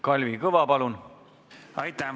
Kalvi Kõva, palun!